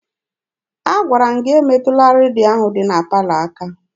Agwara m gị emetụla redio ahụ dị na palọ aka!